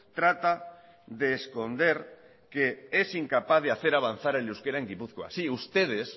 trata de esconder que es incapaz hacer avanzar el euskera en gipuzkoa sí ustedes